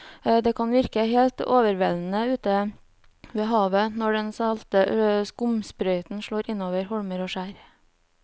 Det kan virke helt overveldende ute ved havet når den salte skumsprøyten slår innover holmer og skjær.